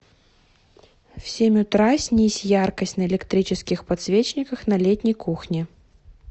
в семь утра снизь яркость на электрических подсвечниках на летней кухне